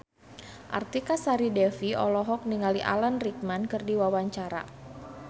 Artika Sari Devi olohok ningali Alan Rickman keur diwawancara